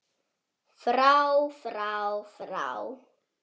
FRÁ FRÁ FRÁ